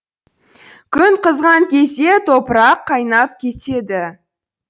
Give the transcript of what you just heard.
күн қызған кезде топырақ қайнап кетеді